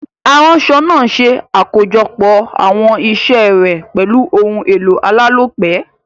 Aránso naa se àkójopò àwon isé rè pèlu oun èlò alálòpé